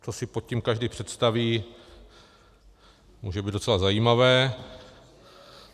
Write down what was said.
Co si pod tím každý představí, může být docela zajímavé.